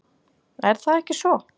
Er það ekki svo?